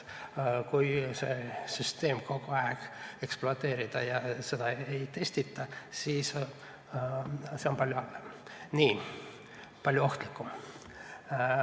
Kui süsteemi kogu aeg ekspluateeritakse ja seda ei testita, siis on see palju halvem, palju ohtlikum.